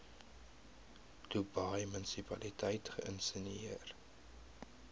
dubai munisipaliteit geïnisieer